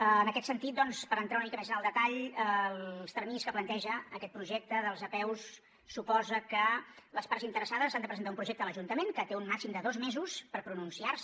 en aquest sentit doncs per entrar una mica més en el detall els terminis que planteja aquest projecte de les apeus suposa que les parts interessades han de presentar un projecte a l’ajuntament que té un màxim de dos mesos per pronunciar se